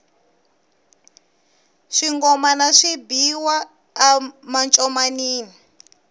swingomana swi biwa a mancomanini